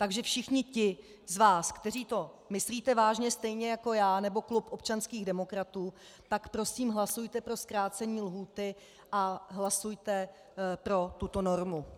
Takže všichni ti z vás, kteří to myslíte vážně stejně jako já nebo klub občanských demokratů, tak prosím hlasujte pro zkrácení lhůty a hlasujte pro tuto normu.